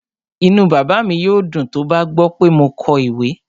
Inú bàbá mi yóò dùn tó bá gbọ́ pé mo kọ ìwé